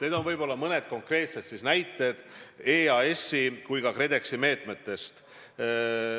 Need on mõned konkreetsed näited EAS-i ja KredExi meetmetest.